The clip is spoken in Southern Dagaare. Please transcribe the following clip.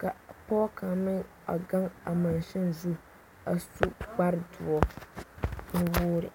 ka pɔge kaŋa meŋ gaŋ a mansini zu a su kpare doɔ nu-wogiri.